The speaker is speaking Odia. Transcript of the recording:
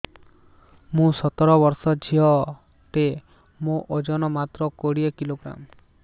ମୁଁ ସତର ବର୍ଷ ଝିଅ ଟେ ମୋର ଓଜନ ମାତ୍ର କୋଡ଼ିଏ କିଲୋଗ୍ରାମ